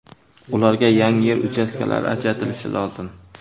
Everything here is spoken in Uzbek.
Ularga yangi yer uchastkalari ajratilishi lozim.